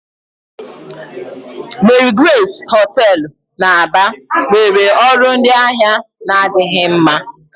Marigrace hoteelu na Aba nwere ọrụ ndị ahịa na-adịghị mma.